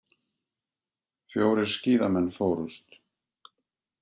Fjórir skíðamenn fórust